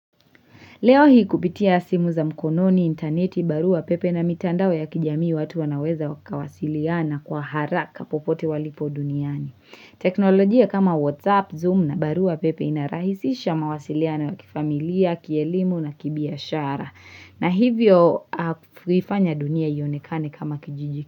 Leo hii kupitia simu za mkononi interneti barua pepe na mitandao ya kijamii watu wanaweza wakawasiliana kwa haraka popote walipo duniani. Teknolojia kama WhatsApp, Zoom na barua pepe ina rahisisha mawasiliano wa kifamilia, kielimu na kibiashara. Na hivyo kuifanya dunia ionekane kama kijijiki.